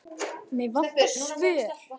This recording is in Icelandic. Mig vantar svör.